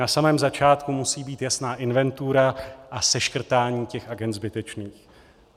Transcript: Na samém začátku musí být jasná inventura a seškrtání těch agend zbytečných.